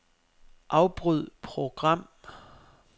Afbryd program.